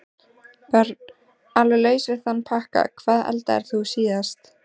Börn: Alveg laus við þann pakka Hvað eldaðir þú síðast?